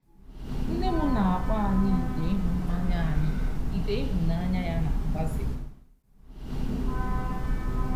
Nne m na-akpọ anyị ite ịhụnanya anyị ite ịhụnanya ya na-agbaze.